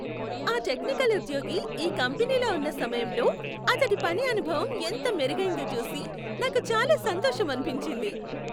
ఆ టెక్నికల్ ఉద్యోగి ఈ కంపెనీలో ఉన్న సమయంలో అతడి పని అనుభవం ఎంతగా మెరుగైందో చూసి నాకు చాలా సంతోషమనిపించింది.